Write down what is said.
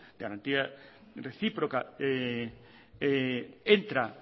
de garantía recíproca entra